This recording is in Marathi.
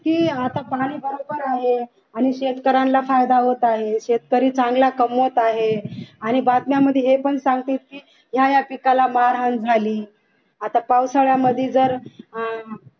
की आता प्रणाली बरोबर आहे आणि शेतकऱ्यांना फायदा होत आहे. शेतकरी चांगला कमवत आहे आणि बातम्यांमध्ये हे पण सांगेल की हा या पिकाला मारहाण झाली आता पावसाळ्यामध्ये जर अह